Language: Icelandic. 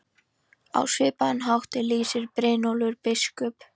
Á svipaðan hátt lýsir Brynjólfur biskup